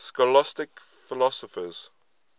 scholastic philosophers